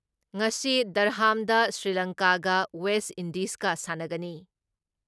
ꯉꯁꯤ ꯗꯔꯍꯥꯝꯗ ꯁ꯭ꯔꯤꯂꯪꯀꯥꯒ ꯋꯦꯁ ꯏꯟꯗꯤꯖꯀ ꯁꯥꯟꯅꯒꯅꯤ ꯫